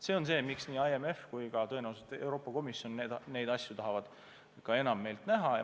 See on see, miks nii IMF kui ka tõenäoliselt Euroopa Komisjon neid asju tahavad Eestis enam näha.